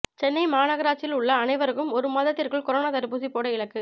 சென்னை மாநகராட்சியில் உள்ள அனைவருக்கும் ஒரு மாதத்திற்குள் கொரோனா தடுப்பூசி போட இலக்கு